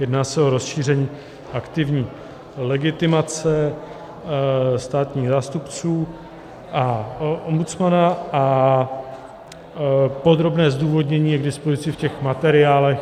Jedná se o rozšíření aktivní legitimace státních zástupců a ombudsmana a podrobné zdůvodnění je k dispozici v těch materiálech.